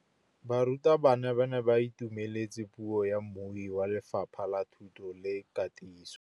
Barutabana ba ne ba itumeletse puô ya mmui wa Lefapha la Thuto le Katiso.